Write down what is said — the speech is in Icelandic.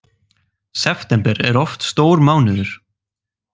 September er oft stór mánuður